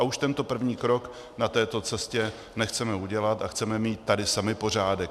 A už tento první krok na této cestě nechceme udělat a chceme mít tady sami pořádek.